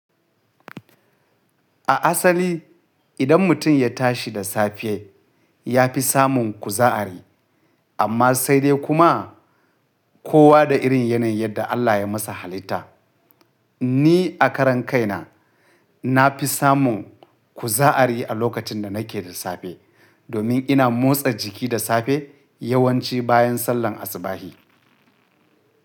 A asali idan mutum ya tashi da safe ya fi samun kuzari amma sai dai kuma kowa da irin yanayin yadda Allah ya masa halitta. Ni a karan kaina na fi samun ku za'ari a lokacin da nake da safe domin ina motsa jiki da safe yawanci bayan sallan asubahi.